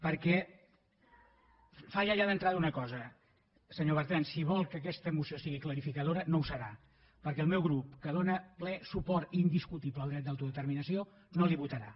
perquè falla ja d’entrada una cosa senyor bertran si vol que aquesta moció sigui clarificadora no ho serà perquè el meu grup que dóna ple suport indiscutible al dret d’autodeterminació no la hi votarà